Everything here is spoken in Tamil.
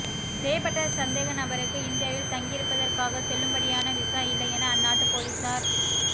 செய்யப்பட்ட சந்தேகநபருக்கு இந்தியாவில் தங்கியிருப்பதற்காக செல்லுபடியான விசா இல்லை என அந்நாட்டு பொலிஸார்